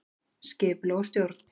Skipulag og stjórn